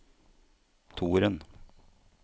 toeren